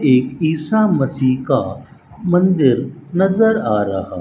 एक ईसा मसी का मंदिर नजर आ रहा--